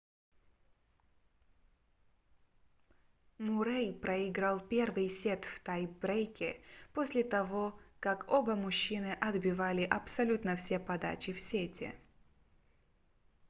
муррэй проиграл первый сет в тай-брейке после того как оба мужчины отбивали абсолютно все подачи в сете